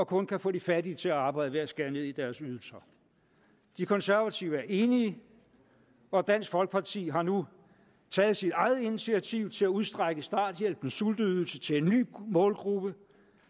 kun kan få de fattige til at arbejde ved at skære ned i deres ydelser de konservative er enige og dansk folkeparti har nu taget sit eget initiativ til at udstrække starthjælpens sulteydelse til en ny målgruppe